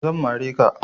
Zan mare ka.